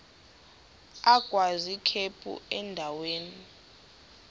agwaz ikhephu endaweni